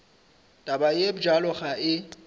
taba ye bjalo ga e